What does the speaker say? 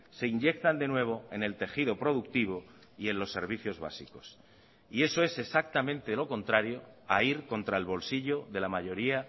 se inyectan de nuevo en el tejido productivo y en los servicios básicos y eso es exactamente lo contrario a ir contra el bolsillo de la mayoría